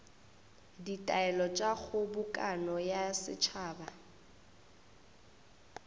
ditaelo tša kgobokano ya setšhaba